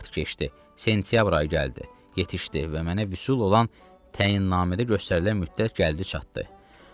Vaxt keçdi, sentyabr ayı gəldi, yetişdi və mənə vüsul olan təyinnamedə göstərilən müddət gəldi çatdı.